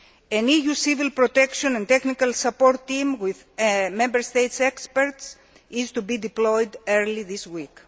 An EU civil protection and technical support team with Member States' experts is to be deployed early this week.